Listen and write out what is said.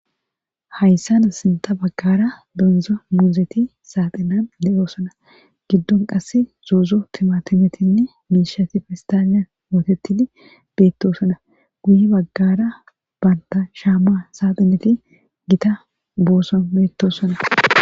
hayssana sinta baggara donza muuzeti saaxinan de7oosona giddon qass zoozo timatinetinne miishati fistaaniyan mootettidi beettosona guye baggara banta shaama saaxineti gita booson beettosona